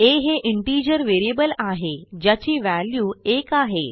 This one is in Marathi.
आ हे इंटिजर व्हेरिएबल आहे ज्याची व्हॅल्यू 1 आहे